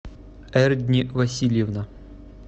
эрдни васильевна